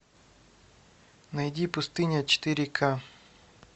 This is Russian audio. найди пустыня четыре к